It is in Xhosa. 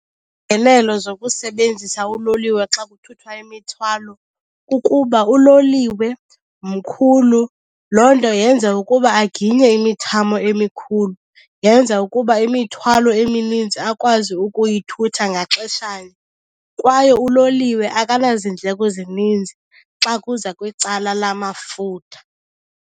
Iingenelo zokusebenzisa uloliwe xa kuthuthwa imithwalo kukuba uloliwe mkhulu. Loo nto yenze ukuba aginye imithamo emikhulu, yenza ukuba imithwalo eminintsi akwazi ukuyithutha ngaxeshanye. Kwaye uloliwe akanaziindleko zininzi xa kuza kwicala lamafutha.